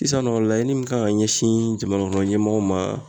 Sisan nɔ, laɲini min kan ka ɲɛsin jamanakɔnɔ ɲɛmɔgɔw ma